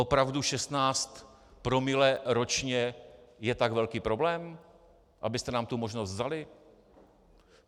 Opravdu 16 promile ročně je tak velký problém, abyste nám tu možnost vzali?